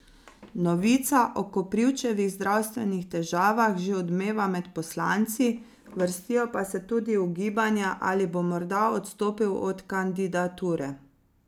Novica o Koprivčevih zdravstvenih težavah že odmeva med poslanci, vrstijo pa se tudi ugibanja, ali bo morda odstopil od kandidature.